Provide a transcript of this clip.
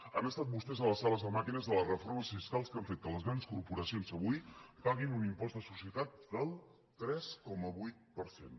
han estat vostès a les sales de màquines de les reformes fiscals que han fet que les grans corporacions avui paguin un impost de societats del tres coma vuit per cent